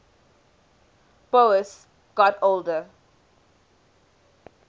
boas got older